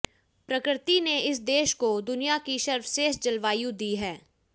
प्रकृति ने इस देश को दुनिया की सर्वश्रेष्ठ जलवायु दी है